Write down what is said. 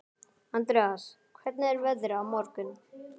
Andreas, hvernig er veðrið á morgun?